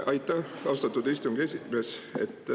Aitäh, austatud esimees!